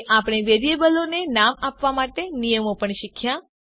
અને આપણે વેરિયેબલોને નામ આપવા માટેના નિયમો પણ શીખ્યા